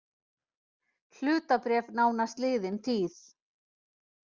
Hlutabréf nánast liðin tíð